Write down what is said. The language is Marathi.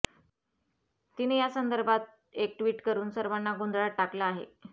तिने या संदर्भात एक ट्विट करून सर्वांना गोंधळात टाकलं आहे